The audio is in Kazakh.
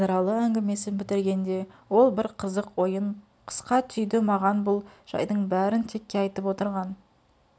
базаралы әңгімесін бітіргенде ол бір қызық ойын қысқа түйді маған бұл жайдың бәрін текке айтып отырған